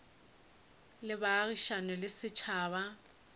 le a baagišane le setšhaba